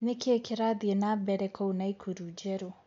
ni kĩĩ kĩrathĩe nambere kuu naikuru njeru